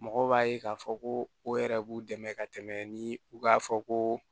Mɔgɔw b'a ye k'a fɔ ko o yɛrɛ b'u dɛmɛ ka tɛmɛ ni u k'a fɔ ko